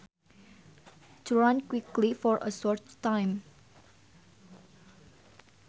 To run quickly for a short time